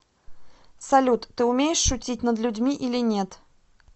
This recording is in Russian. салют ты умеешь шутить над людьми или нет